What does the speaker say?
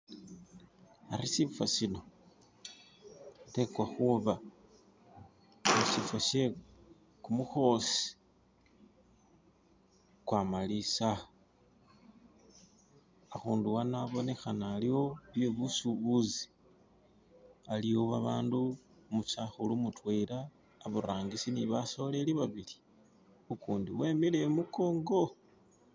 ari sifo sino sitekwa khuba she kumukhosi kwamalisa, akhundu ano abonekhana aliwo byebusubuzi, aliwo babandu, umusakhulu mudwela iburangisi ne basoleli babibli ukundi emele imukonko.